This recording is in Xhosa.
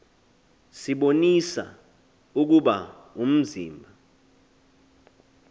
sibonisa ukuba umzimba